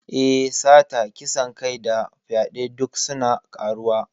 Eh, Sata, kisan kai da fyaɗe duk suna ƙaruwa.